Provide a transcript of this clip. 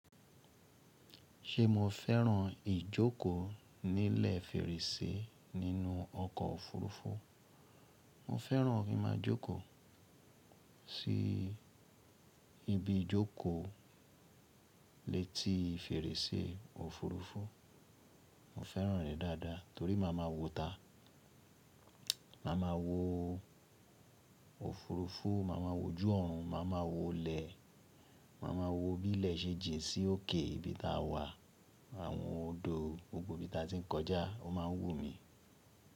Ṣé mo fẹ́ràn ìjókòó nílẹ̀ fèrèsé nínú ọkọ̀ òfurufú? Mo fẹ́ràn kí n máa jókòó sí ibi ìjókòó létí fèrèsé òfurufú. Mo fẹ́ràn rẹ̀ dáadáa torí màá ma wòó ìta. Màá ma wòó òfurufú, màá ma wò ojú ọ̀run, màá ma wòó ilẹ̀, màá ma wò bí ilẹ̀ ṣe jin sí òkè ibi tá wà, àwọn odò gbogbo ibi tá ti ń kọjá ó máa ń wu mí.